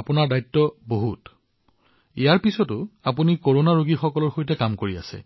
আপোনাৰ ইমান দায়িত্ব ইমান কাম তথাপিও আপুনি কৰোনা ৰোগীসকলৰ সৈতে কাম কৰি আছে